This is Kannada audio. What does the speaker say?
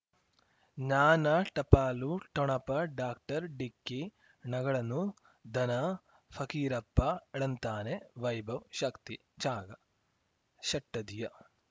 ಜ್ಞಾನ ಟಪಾಲು ಠೊಣಪ ಡಾಕ್ಟರ್ ಢಿಕ್ಕಿ ಣಗಳನು ಧನ ಫಕೀರಪ್ಪ ಳಂತಾನೆ ವೈಭವ್ ಶಕ್ತಿ ಝಗಾ ಷಟ್ಟದಿಯ